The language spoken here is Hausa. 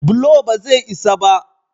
bulo ba zai isa ba